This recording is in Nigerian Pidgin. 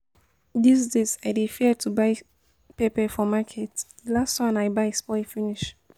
This days I dey fear to buy pepper for market, the last one I buy spoil finish